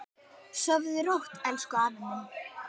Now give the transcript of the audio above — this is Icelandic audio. Sofðu rótt, elsku afi minn.